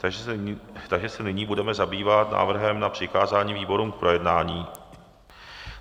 Takže se nyní budeme zabývat návrhem na přikázání výborům k projednání.